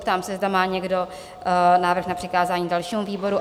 Ptám se, zda má někdo návrh na přikázání dalšímu výboru?